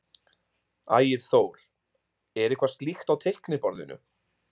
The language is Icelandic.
Ægir Þór: Er eitthvað slíkt á teikniborðinu?